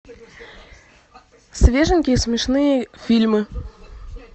свеженькие смешные фильмы